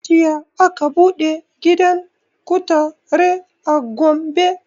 Jiya aka buɗe gidan kutare a gombe